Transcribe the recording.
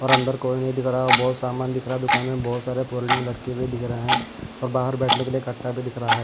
और अंदर कोई नहीं दिख रहा है बहुत सामान दिख रहा है दुकान में बहुत सारे पोर्लिंग लटके भी दिख रहे हैं और बाहर बैठने के लिए कट्टा भी दिख रहा है।